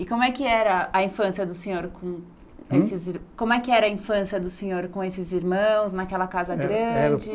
E como é que era a infância do senhor com. Hum? como é que era a infância do senhor com esses irmãos, naquela casa grande?